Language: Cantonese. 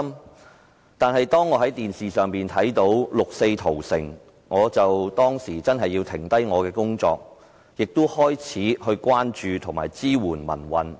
不過，當我在電視上看到六四屠城時，便停下了手上的工作，並開始關注和支援民運。